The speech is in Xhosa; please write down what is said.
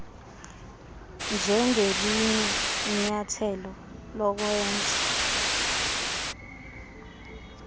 njengelinye inyathelo lokwenza